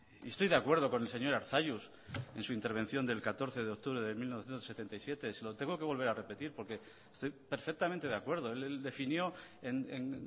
estoy de acuerdo con el señor arzallus en su intervención del catorce de octubre de mil novecientos setenta y siete se lo tengo que volver a repetir porque estoy perfectamente de acuerdo él definió en